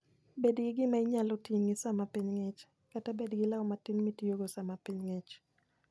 Bed gi gima inyalo ting'i sama piny ng'ich, kata bed gi law matin mitiyogo sama piny ng'ich.